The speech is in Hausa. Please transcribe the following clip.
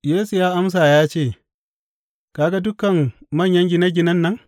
Yesu ya amsa ya ce, Ka ga dukan manyan gine ginen nan?